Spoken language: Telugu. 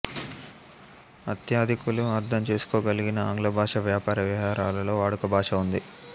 అత్యధికులు అర్ధం చేసుకోగలిగిన ఆంగ్లభాష వ్యాపార వ్యవహారాలలో వాడుకభాషగా ఉంది